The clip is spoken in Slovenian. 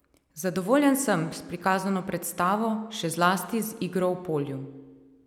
Zadovoljen sem s prikazano predstavo, še zlasti z igro v polju.